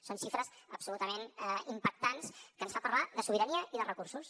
són xifres absolutament impactants que ens fan parlar de sobirania i de recursos